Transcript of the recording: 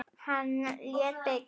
Hann lét byggja